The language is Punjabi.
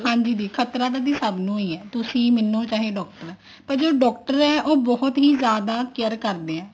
ਹਾਂਜੀ ਦੀ ਖਤਰਾ ਤਾਂ ਸਭ ਨੂੰ ਹੀ ਹੈ ਤੁਸੀਂ ਮੈਨੂੰ ਚਾਹੇ doctor ਪਰ ਜੋ doctor ਆ ਉਹ ਬਹੁਤ ਹੀ ਜਿਆਦਾ care ਕਰਦੇ ਆ